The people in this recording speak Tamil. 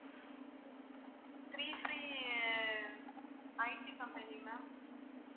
ah IT company ma'am